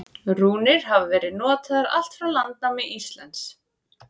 Rúnir hafa verið notaðar allt frá landnámi Íslands.